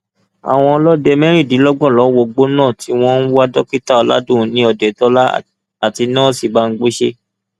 àwọn ọlọdẹ mẹrìndínlọgbọn ló wọgbó náà tí wọn ń wá dókítà ọládúnni òdetọlá àti nọọsì bámgbóṣe